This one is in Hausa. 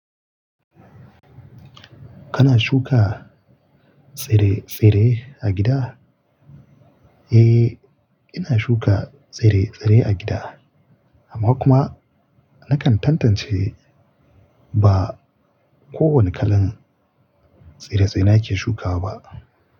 Kana shuka tsire-tsire a gida? Eh, ina shuka tsire-tsire a gida, amma kuma nakan tantance ba kowane kalan tsire-tsire nake shukawa ba.